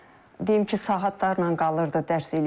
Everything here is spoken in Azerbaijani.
Deyim ki, saatlarla qalırdı, dərs eləyirdi, yox.